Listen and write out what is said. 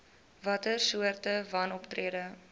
watter soorte wanoptrede